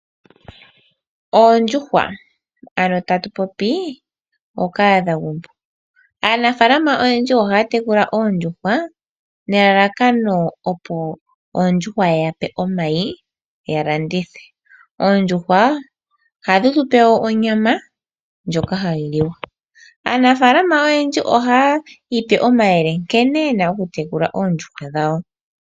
Oondjuhwa Ano tatu popi ookahadhagumbo, aanafaalama oyendji ohaya tekula oondjuhwa nelalakano opo oondjuhwa ye yape omayi ya landithe. Oondjuhwa ohadhi tupe wo onyama ndjoka hayi liwa. Aanafaalama oyendji ohaya ipe omayele nkene yena oku tekula oondjuhwa dhawo.